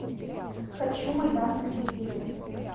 хочу майдан на телевизоре